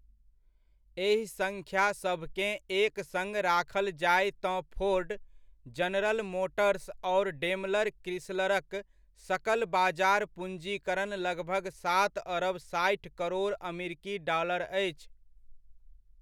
एहि सङ्ख्यासभकेँ एक सङ राखल जाय तँ फोर्ड, जनरल मोटर्स आओर डेमलर क्रिसलरक सकल बाजार पूँजीकरण लगभग सात अरब साठि करोड़ अमरीकी डालर अछि।